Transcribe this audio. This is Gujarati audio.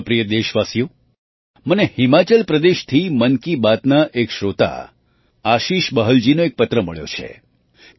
મારા પ્રિય દેશવાસીઓ મને હિમાચલ પ્રદેશથી મન કી બાતના એક શ્રોતા આશીષ બહલજીનો એક પત્ર મળ્યો છે